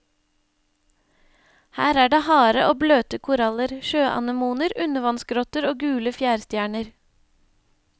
Her er det harde og bløte koraller, sjøanemoner, undervannsgrotter og gule fjærstjerner.